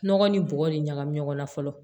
Nɔgɔ ni bɔgɔ de ɲagami ɲɔgɔn na fɔlɔ